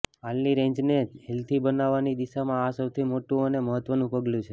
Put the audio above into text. હાલની રેન્જને હેલ્ધી બનાવવાની દિશામાં આ સૌથી મોટું અને મહત્ત્વનું પગલું છે